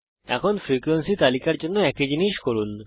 এখন ফ্রিকোয়েন্সি তালিকার জন্য একই জিনিস করুন